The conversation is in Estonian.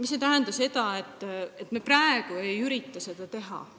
See ei tähenda, nagu me praegu ei üritaks seda teha.